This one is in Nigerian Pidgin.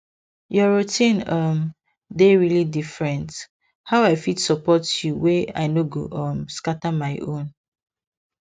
your routine um dey really different how i fit support you wey i nor go um scatter my own